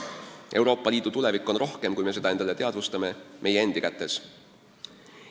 Euroopa Liidu tulevik on rohkem, kui me seda endale teadvustame, meie endi kätes.